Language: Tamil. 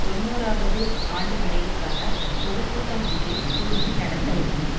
தொன்னூறுவது ஆண்டு நிறைவுக்காக பொது கூட்டம் ஒன்றை கொழும்பில் நடத்தவுள்ளன